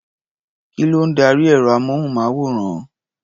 Kí ló ń darí ẹ̀rọ-amóhùnmáwòrán?